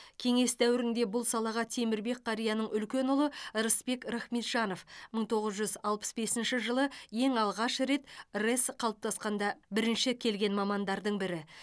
кеңес дәуірінде бұл салаға темірбек қарияның үлкен ұлы рысбек рахметжанов мың тоғыз жүз алпыс бесінші жылы ең алғаш рет рэс қалыптасқанда бірінші келген мамандардың бірі